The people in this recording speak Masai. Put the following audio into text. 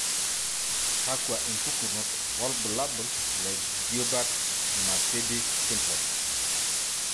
Kakwa impukunot wobulabul le Juberg Marsidi syndrome?